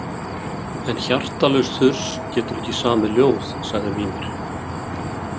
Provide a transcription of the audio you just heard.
En hjartalaus þurs getur ekki samið ljóð, sagði Mímir.